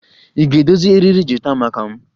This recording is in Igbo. Ị ga-edozi eriri gita maka m?